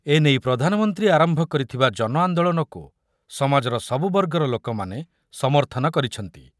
ଏନେଇ ପ୍ରଧାନମନ୍ତ୍ରୀ ଆରମ୍ଭ କରିଥିବା ଜନଆନ୍ଦୋଳନକୁ ସମାଜର ସବୁ ବର୍ଗର ଲୋକମାନେ ସମର୍ଥନ କରିଛନ୍ତି ।